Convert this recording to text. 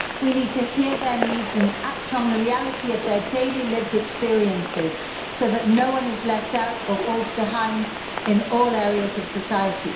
We need to hear their needs and act on the reality of their daily lived experiences so that no one is left out or falls behind in all areas of society.